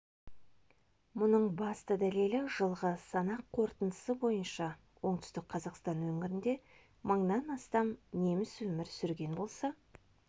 мұның басты дәлелі жылғы санақ қорытындысы бойынша оңтүстік қазақстан өңірінде мыңнан астам неміс өмір сүрген болса